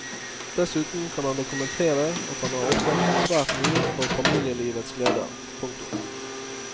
Dessuten kan han dokumentere at han har ofret svært mye for famililevets gleder. punktum